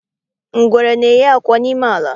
Ngwere na-eyi akwa n'ime ala.